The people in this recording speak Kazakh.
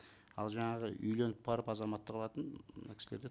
ал жаңағы үйленіп барып азаматтық алатын мына кісілерде